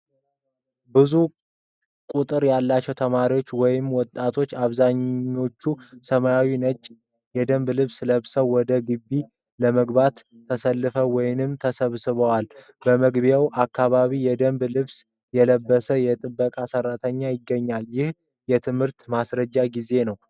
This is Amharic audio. ብዙ ቁጥር ያላቸው ተማሪዎች ወይም ወጣቶች፣ አብዛኛዎቹ ሰማያዊና ነጭ የደንብ ልብስ ለብሰው ወደ ግቢው ለመግባት ተሰልፈው ወይም ተሰብስበዋል። በመግቢያው አካባቢ የደንብ ልብስ የለበሰ የጥበቃ ሠራተኛ ይገኛል፤ ይህም የትምህርት ማስጀመሪያ ጊዜ ነው።